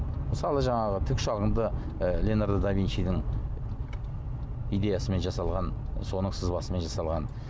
мысалы жаңағы тікұшағың да ы леноардо да винчидің идеясымен жасалған соның сызбасымен жасалған